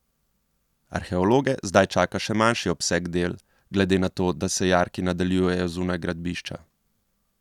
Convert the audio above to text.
Arheologe zdaj čaka še manjši obseg del glede na to, da se jarki nadaljujejo zunaj gradbišča.